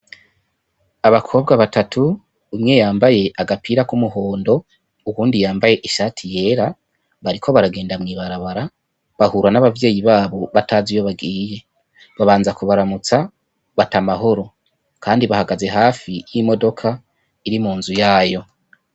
Abakobwa batatu umwe yambaye agapira k'umuhondo uyundi yambaye ishati yera bariko bagenda mwi barabara bahura n' abavyeyi batazi iyo bagiye babanza kubaramutsa bati amahoro kandi bahagaze hafi y' imodoka iri mu nzu yayo.